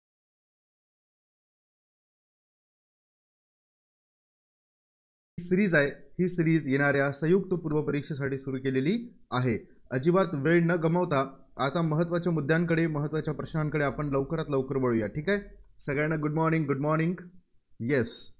ही series आहेत, ही series येणाऱ्या संयुक्त पूर्व परीक्षेसाठी सुरू केलेली आहे. अजिबात वेळ न गमवता आता महत्त्वाच्या मुद्द्यांकडे, महत्त्वाच्या प्रश्नांकडे आपण लवकरात, लवकर वळूया. ठीक आहे. सगळ्यांना good morning, good morning yes